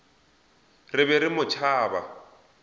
re be re mo tšhaba